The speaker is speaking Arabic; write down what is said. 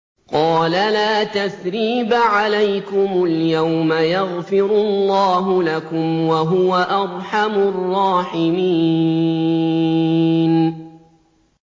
قَالَ لَا تَثْرِيبَ عَلَيْكُمُ الْيَوْمَ ۖ يَغْفِرُ اللَّهُ لَكُمْ ۖ وَهُوَ أَرْحَمُ الرَّاحِمِينَ